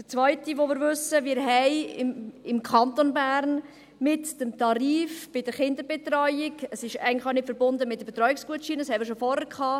Zweitens wissen wir: Wir haben im Kanton Bern mit dem Tarif bei der Kinderbetreuung – es ist eigentlich auch nicht mit Betreuungsgutscheinen verbunden, das hatten wir schon vorher;